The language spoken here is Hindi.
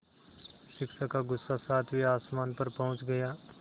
शिक्षक का गुस्सा सातवें आसमान पर पहुँच गया